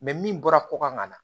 min bɔra ko kan ka na